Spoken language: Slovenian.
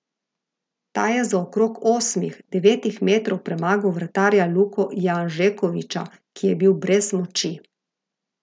Ta je z okrog osmih, devetih metrov premagal vratarja Luko Janžekoviča, ki je bil brez moči.